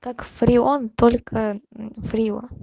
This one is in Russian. как фреон только фрио